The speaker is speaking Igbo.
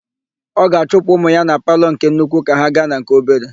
Ọ ga-achụpụ ụmụ ya na palọ nke nnukwu ka ha gaa na nke obere.